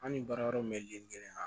An ni baara yɔrɔ mɔlen kelen